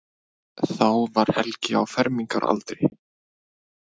Þá var Helgi á fermingaraldri.